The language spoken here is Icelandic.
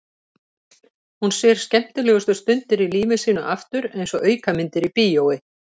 Hún sér skemmtilegustu stundirnar í lífi sínu aftur einsog aukamyndir í bíói.